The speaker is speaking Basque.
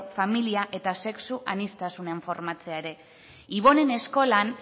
familia eta sexu aniztasunean formatzea ere ibonen eskolan